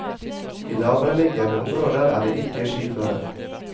I lavereliggende områder er det ikke skiføre.